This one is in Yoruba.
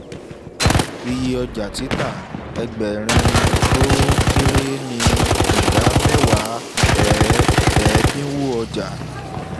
iye ọjà títà: egberin tó kéré ni ìdá mẹ́wàá ẹ̀dínwó ọjà